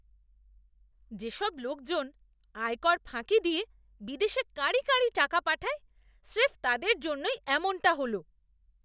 যেসব লোকজন আয়কর ফাঁকি দিয়ে বিদেশে কাঁড়ি কাঁড়ি টাকা পাঠায়, স্রেফ তাদের জন্যই এমনটা হল!